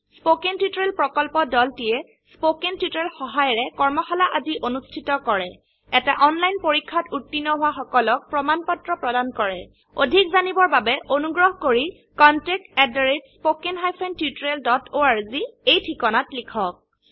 spoken tutorial প্ৰকল্পৰদলটিয়ে spoken tutorial সহায়িকাৰে কৰ্মশালা আদি অনুষ্ঠিত কৰে এটা অনলাইন পৰীক্ষাত উত্তীৰ্ণ হোৱা সকলক প্ৰমাণ পত্ৰ প্ৰদান কৰে অধিক জানিবৰ বাবে অনুগ্ৰহ কৰি contactspoken tutorialorg এই ঠিকনাত লিখক